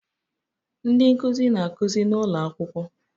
Ndị nkuzi na-akụzi n'ụlọ akwụkwọ